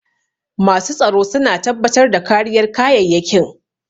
Masu tsaro su na tabbatar da kariyar kayyayakin